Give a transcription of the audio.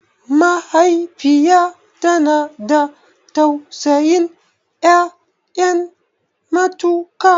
Mahaifiya tana da tausayin ƴaƴa matuƙa